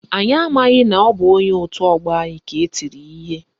Anyị amaghị na ọ bụ onye otu ọgbọ anyị ka etiri ihe